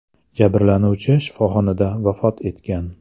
Jabrlanuvchi shifoxonada vafot etgan .